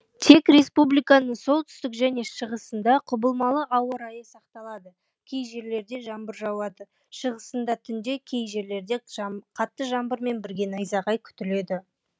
тек республиканың солтүстік және шығысында құбылмалы ауа райы сақталады кей жерлерде жаңбыр жауады шығысында түнде кей жерлерде қатты жаңбырмен бірге найзағай күтіледі